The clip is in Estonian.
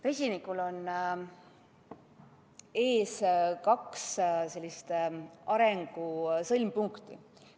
Vesinikul on ees kaks arengu sõlmpunkti.